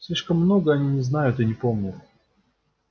слишком много они не знают и не помнят